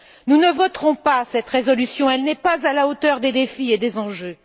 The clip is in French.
Nous ne voterons pas cette résolution, elle n'est pas à la hauteur des défis et des enjeux.